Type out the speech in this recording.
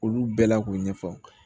Olu bɛɛ la k'o ɲɛfɔ